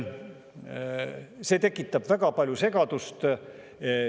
See tekitab väga palju segadust.